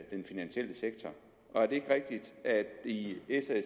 i den finansielle sektor og er det ikke rigtigt at i s og